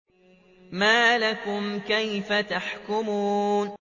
مَا لَكُمْ كَيْفَ تَحْكُمُونَ